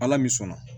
Ala ni sɔnna